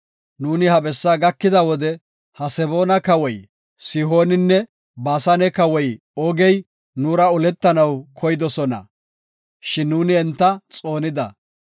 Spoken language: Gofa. Nuuni ha bessa gakida wode Haseboona Kawoy Sihooninne Baasane Kawoy Oogey nuura oletanaw keyidosona, shin nuuni enta xoonida.